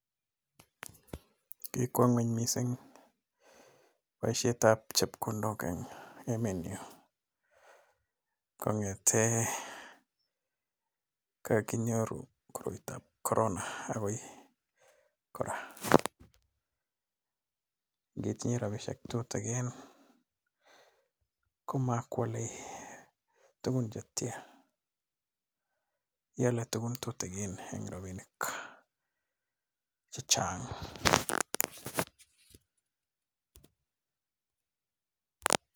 Kikwo ng'ony missing boishet ab chepkondok eng emet nyo. Kong'ete ko kakinyoru koroitab corona agoi kora. Ngitinye robishiek tutigin komakwalei tugun chetiaa, ialei tugun tutigin eng robinik chechang'.